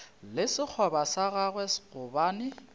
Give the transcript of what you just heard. le sekgoba sa gagwe gobane